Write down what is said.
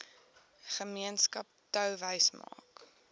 gemeenskap touwys maak